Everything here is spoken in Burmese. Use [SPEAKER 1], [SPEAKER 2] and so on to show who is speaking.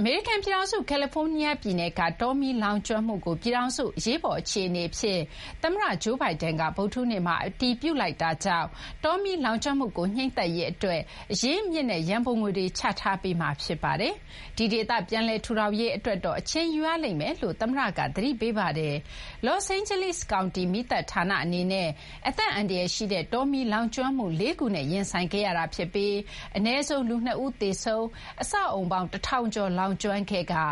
[SPEAKER 1] အမေရိကန်ပြည်ထောင်စု ကယ်လီဖိုးနီးယားပြည်နယ်က တောမီး လောင်ကျွမ်းမှုကို ပြည်ထောင်စု အရေးပေါ် အခြေအနေအဖြစ် သမ္မတ Joe Biden က ဗုဒ္ဓဟူးနေ့မှာ အတည်ပြုလိုက်တာကြောင့် တောမီးလောင်ကျွမ်းမှုကို ငြှိမ်းသတ်ရေးအတွက် အရင်းအမြစ်နဲ့ ရန်ပုံငွေတွေ ချထားပေးမှာ ဖြစ်ပါတယ်။ ဒီဒေသ ပြန်လည်ထူထောင်ရေး အတွက်တော့ အချိန်ယူရလိမ့်မယ်လို့လည်း သမ္မတက သတိပေးပါတယ်။ လောစ့်အိန်းဂျလိစ် ကောင်တီ မီးသတ်ဌာနအနေနဲ့ အသက်အန္တရာယ်ရှိတဲ့ တောမီးလောင်ကျွမ်းမှု ၄ ခုနဲ့ ရင်ဆိုင်ခဲ့ရတာ ဖြစ်ပြီး အနည်းဆုံး လူ ၂ ဦး သေဆုံး၊ အဆောက်အအုံပေါင်း ၁ ထောင်ကျော် လောင်ကျွမ်းခဲ့ကာ